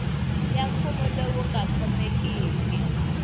ya mfuwo lowu nga khomekiki